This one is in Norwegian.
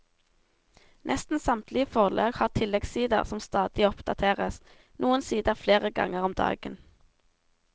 Nesten samtlige forlag har tilleggssider som stadig oppdateres, noen sider flere ganger om dagen.